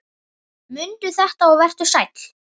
Mundu þetta og vertu sæll!